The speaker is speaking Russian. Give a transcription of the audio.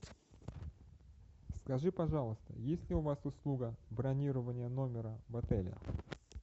скажи пожалуйста есть ли у вас услуга бронирование номера в отеле